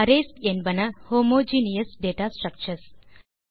arrays என்பன homogeneous data structures